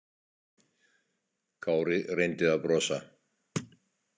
Kári reyndi að brosa.